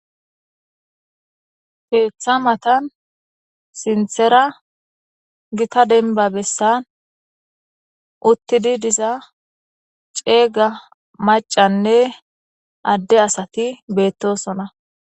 keeththa matan sinthera gita denba bessan uttidi diza ceega macanne adde asati beettosona